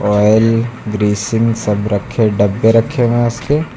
Oil greasing सब रखे डब्बे रखे हुए उसके।